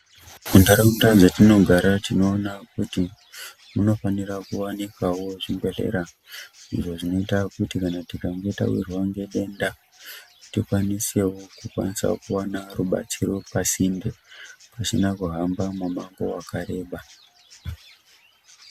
Muntaraunda metinogara tinoona kuti munofanira kuwanikawo zvibhedhlera, izvo zvinoita kuti kana tikange tawirwa ngedenda, tikwanisewo kukwanisawo kuwana rubatsiro pasinde, pasina kuhamba mumango wakareba.